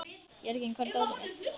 Jörgen, hvar er dótið mitt?